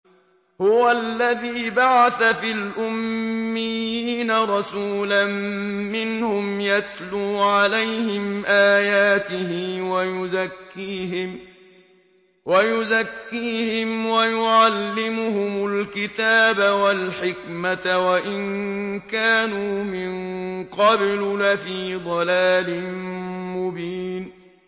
هُوَ الَّذِي بَعَثَ فِي الْأُمِّيِّينَ رَسُولًا مِّنْهُمْ يَتْلُو عَلَيْهِمْ آيَاتِهِ وَيُزَكِّيهِمْ وَيُعَلِّمُهُمُ الْكِتَابَ وَالْحِكْمَةَ وَإِن كَانُوا مِن قَبْلُ لَفِي ضَلَالٍ مُّبِينٍ